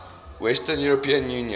western european union